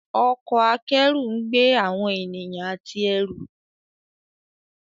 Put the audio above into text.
Ọkọ̀ akẹ́rù ńgbé awọn ènìyàn àti ẹrù.